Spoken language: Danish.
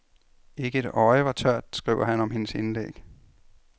Ikke et øje var tørt, skriver han om hendes indlæg.